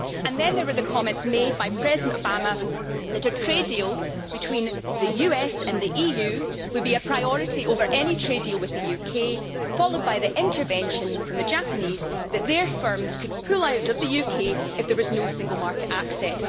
And then there were the comments made by President Obama that a trade deal between the US and the EU will be a priority over any trade deal with the UK, followed by the warning from the Japanese that their firms could pull out of the UK if there was no single market access.